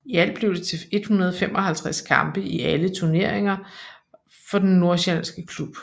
I alt blev det til 155 kampe i alle turneringer for den nordsjællandske klub